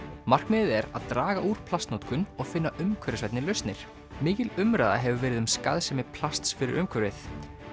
markmiðið er að draga úr plastnotkun og finna umhverfisvænni lausnir mikil umræða hefur verið um skaðsemi plasts fyrir umhverfið